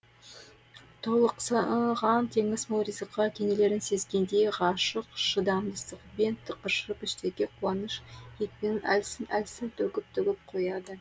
толықсыған теңіз мол ризыққа кенелерін сезгендей ғашық шыдамсыздығымен тықыршып іштегі қуаныш екпінін әлсін әлсін төгіп төгіп қояды